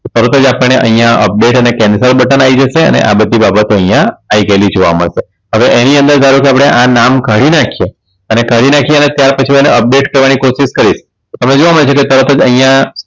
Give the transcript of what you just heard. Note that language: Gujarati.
તો તરત જ આપણે અહીંયા Update અને Cancel બટન આઈ જશે અને આ બધી બાબતો અહીંયા આઈ ગયેલી જોવા મળશે હવે એની અંદર ધારો કે આપણે આ નામ કાઢી નાખીયે અને કાઢી નાખીએ અને ત્યાર પછી એને Update થવાની કોશિશ કરીશ હવે જોવા મળે છે કે તરત જ અહીંયા